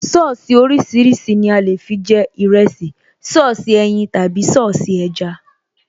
Sọ́ọ̀sì oríṣiríṣi ni a lè fi jẹ ìrẹsì, Sọ́ọ̀sì ẹyin tàbí Sọ́ọ̀sì ẹja